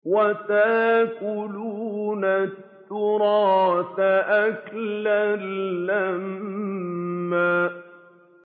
وَتَأْكُلُونَ التُّرَاثَ أَكْلًا لَّمًّا